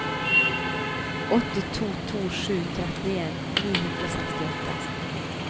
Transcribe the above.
åtte to to sju trettien ni hundre og sekstiåtte